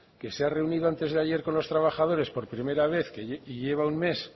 que se ha reunido antes de ayer con los trabajadores por primera vez y lleva un mes